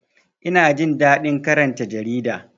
Ina jin daɗin karanta jarida